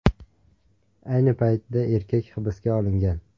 Ayni paytda erkak hibsga olingan.